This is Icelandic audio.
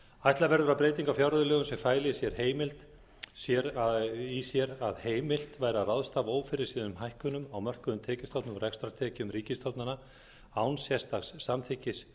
ætla verður að breyting á fjárreiðulögum sem fæli í sér að heimilt væri að ráðstafa ófyrirséðum hækkunum á mörkuðum tekjustofnum og rekstrartekjum ríkisstofnana án sérstaks samþykkis